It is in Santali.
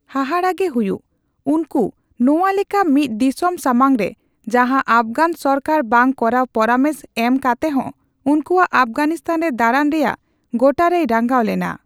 ᱦᱟᱦᱟᱸᱜᱮ ᱦᱩᱭᱩᱜ, ᱩᱱᱠᱩ ᱱᱚᱣᱟᱞᱮᱠᱟ ᱢᱤᱫ ᱫᱤᱥᱚᱢ ᱥᱟᱢᱟᱝ ᱨᱮ ᱡᱟᱦᱟᱸ ᱟᱯᱷᱜᱟᱱ ᱥᱚᱨᱠᱟᱨ ᱵᱟᱝ ᱠᱚᱨᱟᱣ ᱯᱚᱨᱟᱢᱮᱥ ᱮᱢ ᱠᱟᱛᱮᱦᱚᱸ ᱩᱱᱠᱩᱭᱟᱜ ᱟᱯᱜᱷᱟᱱᱤᱛᱟᱱ ᱨᱮ ᱫᱟᱸᱲᱟᱱ ᱨᱮᱭᱟᱜ ᱜᱚᱴᱟᱨᱮᱭ ᱨᱟᱸᱜᱟᱣ ᱞᱮᱱᱟ ᱾